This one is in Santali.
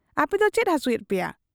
ᱟᱯᱮᱫᱚ ᱪᱮᱫ ᱦᱟᱹᱥᱩᱭᱮᱫ ᱯᱮᱭᱟ ?